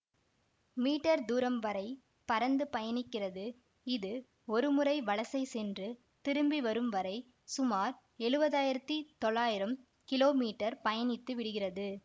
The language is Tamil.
மீ தூரம் வரை பறந்து பயணிக்கிறது இது ஒரு முறை வலசை சென்று திரும்பி வரும் வரை சுமார் எழுவதாயிரத்தி தொள்ளாயிரம் கிலோ மீட்டர் பயணித்து விடுகிறது